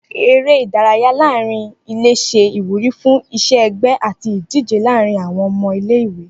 Eré ìdárayá láàrín ilé se ìwúrí fún iṣẹ ẹgbẹ àti ìdíje láàrín àwọn ọmọ ilé ìwé